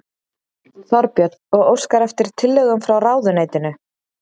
Þorbjörn: Og óskar eftir tillögum frá ráðuneytinu?